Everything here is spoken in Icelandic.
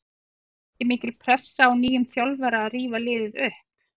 Verður ekki mikil pressa á nýjum þjálfara að rífa liðið upp?